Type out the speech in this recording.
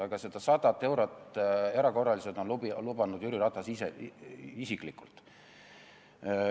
Aga seda 100 eurot erakorraliselt on lubanud Jüri Ratas isiklikult.